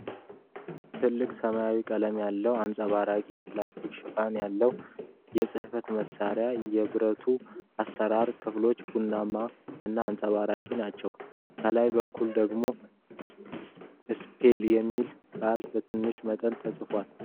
ጥልቅ ሰማያዊ ቀለም ያለው፣ አንጸባራቂ የፕላስቲክ ሽፋን ያለው የጽህፈት መሳሪያ ። የብረቱ አሠራር ክፍሎች ብርማ እና አንጸባራቂ ናቸው። ከላይ በኩል ደግሞ "ስፒል" የሚለው ቃል በትንሽ መጠን ተጽፏል።